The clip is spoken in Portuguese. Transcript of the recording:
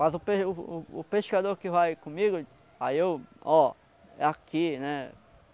Mas o pe o o pescador que vai comigo, aí eu: ó, é aqui, né?